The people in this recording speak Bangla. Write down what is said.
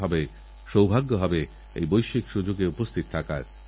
আমি দেশের প্রথম প্রধানমন্ত্রী যে স্বাধীন ভারতবর্ষে জন্মেছে